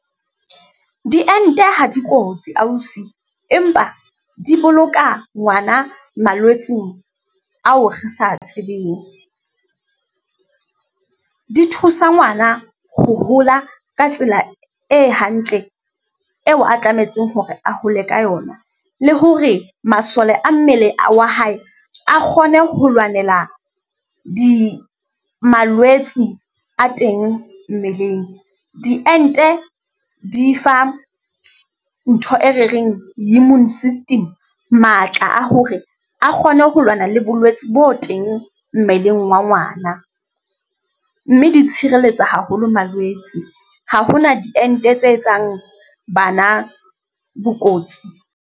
Diente ha di kotsi ausi, empa di boloka ngwana malwetseng ao re sa tsebeng, di thusa ngwana ho hola ka tsela e hantle eo a tlametseng hore a hole ka yona, le hore masole a mmele wa hae a kgone ho lwanela malwetsi a teng mmeleng. Diente di fa ntho e re reng immune system matla a hore a kgone ho lwana le bolwetsi bo teng mmeleng wa ngwana, mme di tshireletsa haholo malwetse ha hona diente tse etsang bana bokotsi.